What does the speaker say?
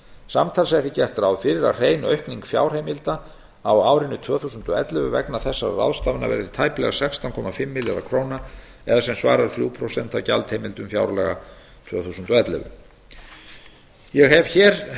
samtals er því gert ráð fyrir að hrein aukning fjárheimilda á árinu tvö þúsund og ellefu vegna þessara ráðstafana verði tæplega sextán komma fimm milljarðar króna eða sem svarar þrjú prósent af gjaldaheimildum fjárlaga tvö þúsund og ellefu ég hef hér